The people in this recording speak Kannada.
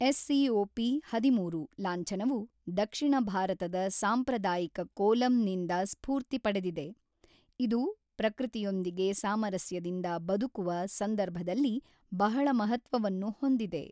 ಎಸ್ ಸಿಓಪಿ ಹದಿಮೂರು ಲಾಂಛನವು ದಕ್ಷಿಣ ಭಾರತದ ಸಾಂಪ್ರದಾಯಿಕ ಕೋಲಂ ನಿಂದ ಸ್ಫೂರ್ತಿ ಪಡೆದಿದೆ, ಇದು ಪ್ರಕೃತಿಯೊಂದಿಗೆ ಸಾಮರಸ್ಯದಿಂದ ಬದುಕುವ ಸಂದರ್ಭದಲ್ಲಿ ಬಹಳ ಮಹತ್ವವನ್ನು ಹೊಂದಿದೆ.